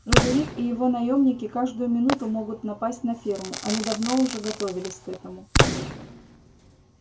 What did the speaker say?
фредерик и его наёмники каждую минуту могут напасть на ферму они давно уже готовились к этому